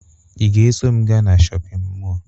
Ị ga-eso m gaa na shọpịn mọọ?